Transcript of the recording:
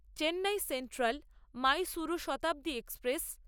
Chennai central Mysuru Shatabdi express